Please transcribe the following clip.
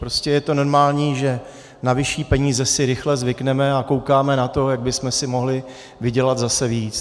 Prostě je to normální, že na vyšší peníze si rychle zvykneme a koukáme na to, jak bychom si mohli vydělat zase víc.